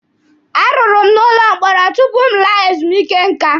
A rụrụ m n'ụlọ mkpọrọ tupu m laa ezumike nká.